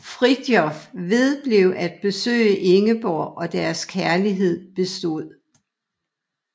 Fridtjof vedblev at besøge Ingeborg og deres kærlighed bestod